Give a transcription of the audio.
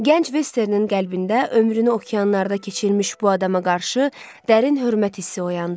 Gənc Vesternin qəlbində ömrünü okeanlarda keçirmiş bu adama qarşı dərin hörmət hissi oyandı.